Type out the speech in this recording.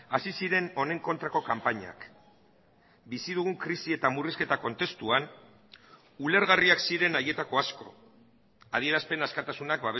hasi ziren honen kontrako kanpainak bizi dugun krisi eta murrizketa kontestuan ulergarriak ziren haietako asko adierazpen askatasunak